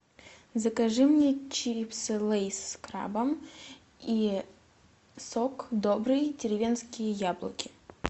закажи мне чипсы лейс с крабом и сок добрый деревенские яблоки